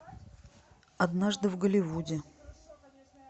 однажды в голливуде